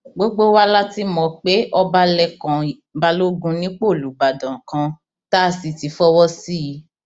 gbogbo wa la ti mọ pé ọba lẹkàn balógun nípò olùbàdàn kan tá a sì ti fọwọ sí i